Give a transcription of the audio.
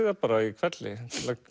það bara í hvelli